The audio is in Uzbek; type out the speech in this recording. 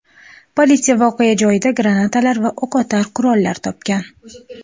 Politsiya voqea joyida granatalar va o‘qotar qurollar topgan.